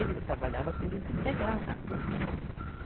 Eu trabalhava período integral na Puc.